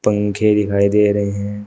पंखे दिखाई दे रहे हैं।